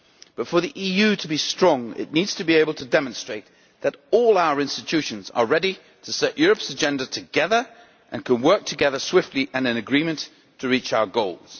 But for the EU to be strong it needs to be able to demonstrate that all our institutions are ready to set Europe's agenda together and can work together swiftly and in agreement to reach our goals.